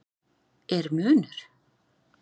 Er munur?